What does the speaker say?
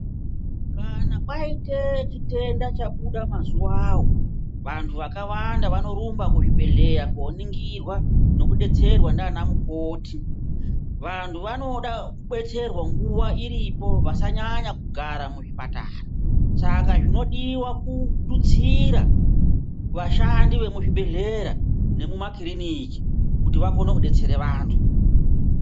Kana kwaite chitenda chabuda mazuvavo vantu vakawanda vanorumba kuzvibhedhleya koningirwa nokubetsera ndiana mukoti. Vantu vanoda kubetserwa nguva iripo vasanyanya kugara muzvipatara. Saka zvinodiva kututsira vashandi vemuzvibhedhlera nemumakiriniki kuti vakone kubetsere vantu.